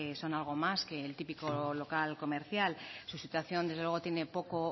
son algo más que el típico local comercial su situación desde luego tiene poco